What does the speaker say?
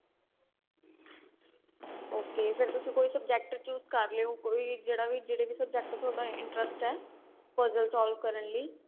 ok ਫੇਰ ਤੁਸੀਂ ਕੋਈ subject choose ਕਰ ਲਿਉ ਕੋਈ ਜਿਹੜਾ ਵੀ ਜਿਹੜੇ ਵੀ subject ਚ ਤੁਹਾਡਾ interest ਏ puzzle solve ਕਰਨ ਲਈ